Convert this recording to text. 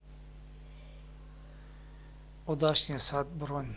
удачный сад бронь